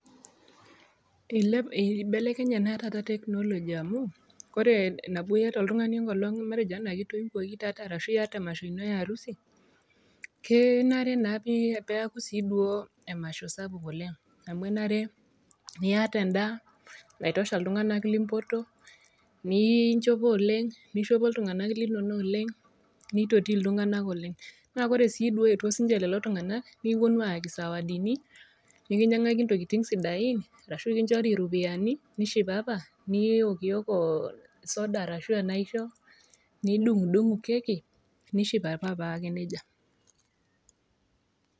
Eibelekenye naa taata technology amu, kore nabo iata oltung'ani matenjo enkolong' anaa kitoiwuoki taata arashu emasho ino e harusi, kenare naa sii duo peaku sii duo emasho sapuk oleng'.Amu enare niata endaa naitosha iltungana limpotuo, ninchopo oleng', neishopo iltung'ana linono oleng' neitoti iltung'ana oleng'. Naa kore sii duo eeetuo sii ninye iltung'ana nekiwuonu aayaki zawadi nikinyang'akini intokitin sidain, arashu kiinchori iropiani, nishipapa, niokioko soda arashu enaisho nidung'udung'u keki nishipapa paake neija.